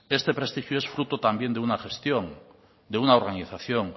este prestigio es fruto también de una gestión de una organización